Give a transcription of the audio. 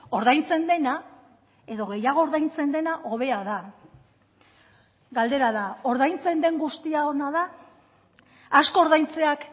ordaintzen dena edo gehiago ordaintzen dena hobea da galdera da ordaintzen den guztia ona da asko ordaintzeak